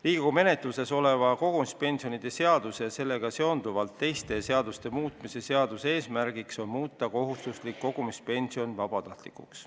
Riigikogu menetluses oleva kogumispensionide seaduse ja sellega seonduvalt teiste seaduste muutmise seaduse eelnõu eesmärk on muuta kohustuslik kogumispension vabatahtlikuks.